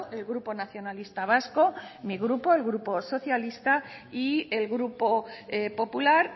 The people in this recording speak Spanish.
el grupo nacionalista vasco mi grupo el grupo socialista y el grupo popular